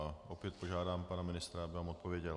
A opět požádám pana ministra, aby nám odpověděl.